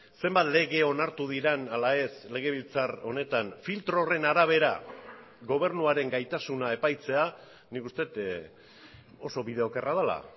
zenbat lege onartu diren ala ez legebiltzar honetan filtro horren arabera gobernuaren gaitasuna epaitzea nik uste dut oso bide okerra dela